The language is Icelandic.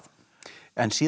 en síðan